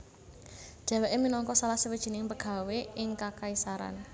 Dheweke minangka salah sawijining pegawé ing kekaisaran